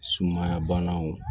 Sumaya banaw